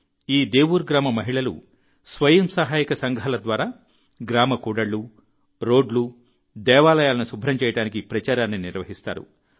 ఈ దేవుర్ గ్రామ మహిళలు స్వయం సహాయక సంఘాల ద్వారా గ్రామ కూడళ్లు రోడ్లు దేవాలయాలను శుభ్రం చేయడానికి ప్రచారాన్ని నిర్వహిస్తారు